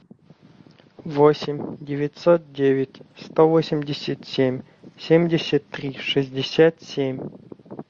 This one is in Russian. восемь девятьсот девять сто восемьдесят семь семьдесят три шестьдесят семь